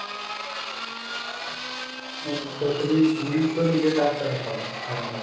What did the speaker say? ও তো তুমি~ তুমিই তো নিজেই ডাক্তার দেখাও না ঠান্ডা লাগলে।